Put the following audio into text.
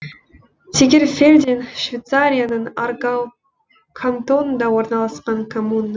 тегерфельден швейцарияның аргау кантонында орналасқан коммуна